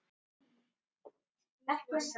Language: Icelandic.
Spurning Birnu hljóðaði svona: